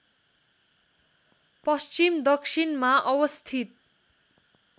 पश्चिम दक्षिणमा अवस्थित